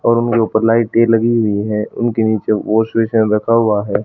और मेरे ऊपर लाइटे लगी हुई है उनके नीचे वॉशबेसिन रखा हुआ है।